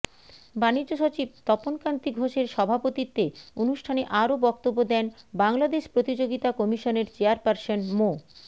বাণিজ্যসচিব তপন কান্তি ঘোষের সভাপতিত্বে অনুষ্ঠানে আরও বক্তব্য দেন বাংলাদেশ প্রতিযোগিতা কমিশনের চেয়ারপারসন মো